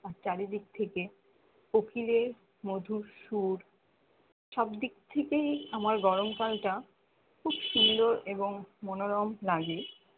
আর চারিদিক থেকে কোকিলের মধুর সুর সবদিক থেকেই আমার গরমকাল টা খুব সুন্দর এবং মনোরম লাগে